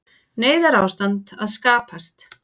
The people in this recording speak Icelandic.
Neyðarástand að skapast